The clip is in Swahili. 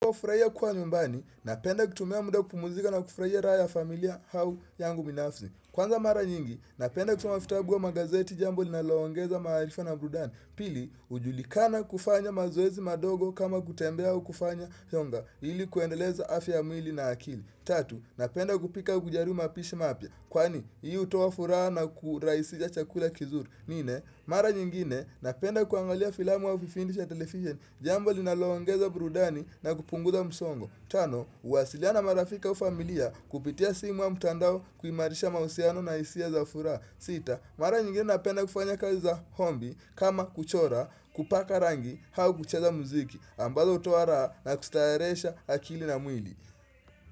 Kufrahia kuwa nyumbani, napenda kutumia muda kupumuzika na kufraia raha ya familia au yangu binafsi. Kwanza mara nyingi, napenda kutumavitabu au magazeti jambo linaloongeza maarifa na burudani. Pili, ujulikana kufanya mazoezi madogo kama kutembea u kufanya yonga ili kuendeleza afya mwili na akili. Tatu, napenda kupika kujaribu mapishi mapia. Kwani, hii utoafuraha na kuraisisha chakula kizuri. Nne, mara nyingine napenda kuangalia filamu wa vipindi vya televisheni jambo linaloongeza burudani na kupunguza msongo Tano, kuwasiliana na marafika au familia kupitia simu wa mtandao kuimarisha mausiano na isia za furaha sita, mara nyingine napenda kufanya kazi za hombi kama kuchora, kupaka rangi, au kucheza muziki ambazo utoaraha na kustarehesha akili na mwili.